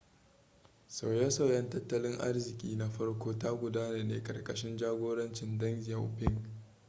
sauye-sauyen tattalin arziki na farko ta gudana ne a ƙarƙashin jagorancin deng xiaoping